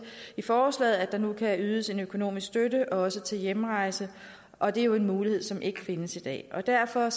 i forslaget at der nu kan ydes økonomisk støtte til også hjemrejse og det er en mulighed som ikke findes i dag derfor